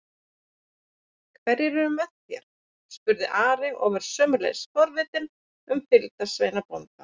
Hverjir er með þér? spurði Ari og var sömuleiðis forvitinn um fylgdarsveina bónda.